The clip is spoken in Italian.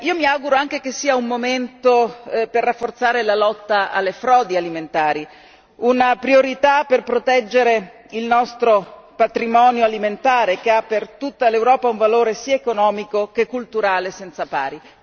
Mi auguro anche che sia un momento per rafforzare la lotta alle frodi alimentari, una priorità per proteggere il nostro patrimonio alimentare che ha per tutta l'Europa un valore sia economico sia culturale senza pari.